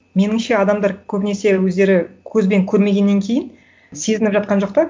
меніңше адамдар көбінесе өздері көзбен көрмегеннен кейін сезініп жатқан жоқ та